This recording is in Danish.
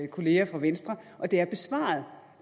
kolleger fra venstre og det er besvaret